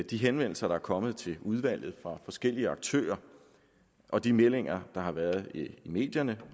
de henvendelser der er kommet til udvalget fra forskellige aktører og de meldinger der har været i medierne